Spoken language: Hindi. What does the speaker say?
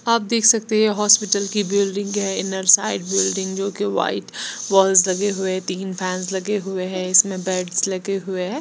आप देख सकते हैं हॉस्पिटल की बिल्डिंग है इनर साइड बिल्डिंग जोकि वाइट वॉल्स लगे हुए तीन फैंस लगे हुए हैं इसमें बेड्स लगे हुए है।